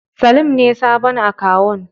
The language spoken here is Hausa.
Salim ne sabon akawun.